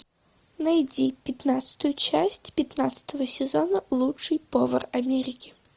найди пятнадцатую часть пятнадцатого сезона лучший повар америки